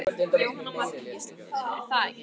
Jóhanna Margrét Gísladóttir: Er það ekki?